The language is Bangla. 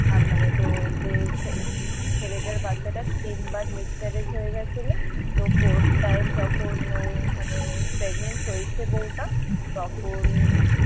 আহ মানে তোর ছেলেটার বাচ্চাটা তিন বার miss courage হয়ে গিয়েছিল তো fourth time যখন ও মানে pregnant হয়েছে বউটা তখন